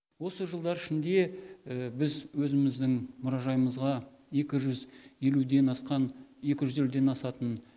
осы жылдар ішінде біз өзіміздің мұражайымызға екі жүз елуден асқан екі жүз елуден асатын